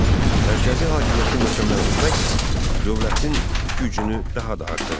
Mərkəzi hakimiyyəti möhkəmləndirməklə dövlətin gücünü daha da artırdı.